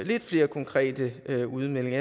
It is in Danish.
lidt flere konkrete udmeldinger